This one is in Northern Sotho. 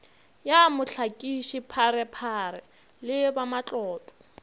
ya mohlakiši pharephare le bamatlotlo